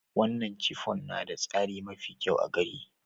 Wanan chiffon na da tsari mafi kyau a gari.